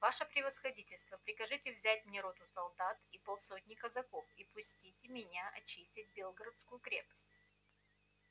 ваше превосходительство прикажите взять мне роту солдат и полсотни казаков и пустите меня очистить белгородскую крепость